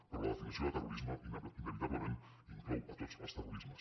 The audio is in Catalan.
però la definició de terrorisme inevitablement inclou tots els terrorismes